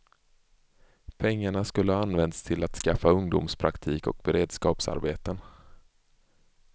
Pengarna skulle ha använts till att skaffa ungdomspraktik och beredskapsarbeten.